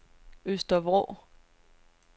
Øster Vrå